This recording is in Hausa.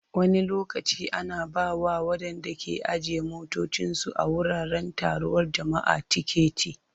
Wani lokaci ana ba wa waɗanda ke ajiye motocinsu a wuraren taruwar jama'a tiketi.